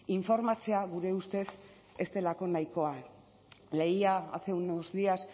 informatzea gure ustez ez delako nahikoa leía hace unos días